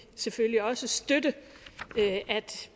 selvfølgelig også støtte at